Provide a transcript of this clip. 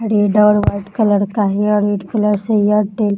red और white colour का है और रेड कलर से एयरटेल --